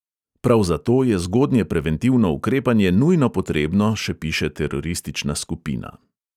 Prav zato je zgodnje preventivno ukrepanje nujno potrebno, še piše teroristična skupina.